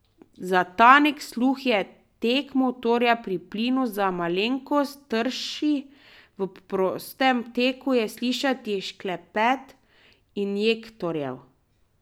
Za tanek sluh je tek motorja pri plinu za malenkost trši, v prostem teku je slišati šklepet injektorjev.